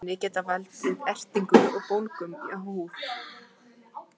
slík efni geta valdið ertingu og bólgum á húð